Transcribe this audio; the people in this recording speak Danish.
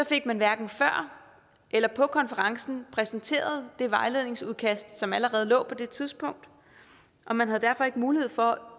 fik man hverken før eller på konferencen præsenteret det vejledningsudkast som allerede lå på det tidspunkt og man havde derfor ikke mulighed for